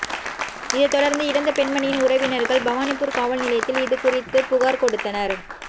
இதை தொடர்ந்து இறந்த பெண்மணியின் உறவினர்கள் பவானிபூர் காவல் நிலையத்தில் இது குறித்து புகார் கொடுத்தனர்